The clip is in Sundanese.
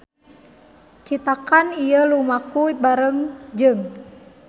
Citakan ieu lumaku bareng jeung